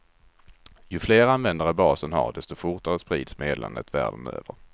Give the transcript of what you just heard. Ju fler användare basen har desto fortare sprids meddelandet världen över.